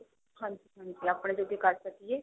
ਹਾਂਜੀ ਹਾਂਜੀ ਆਪਣੇ ਜੋਗੇ ਕਰ ਸਕੀਏ